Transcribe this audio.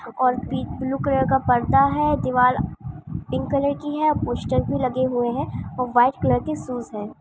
और पि blue colour का पर्दा है दिवार पिंक कलर की है पोस्टर भी लगे हुए है वाइट कलर की शू है।